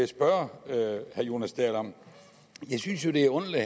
spørge herre jonas dahl om jeg synes det er underligt